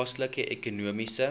plaaslike ekonomiese